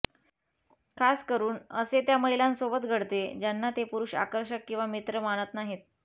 खास करून असे त्या महिलांसोबत घडते ज्यांना ते पुरूष आकर्षक किंवा मित्र मानत नाहीत